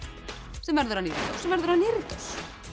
sem verður að nýrri dós sem verður að nýrri dós